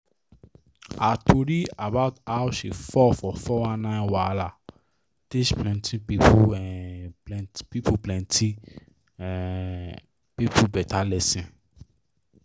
her tori about how she fall for 419 wahala teach plenty um people plenty um people better lesson.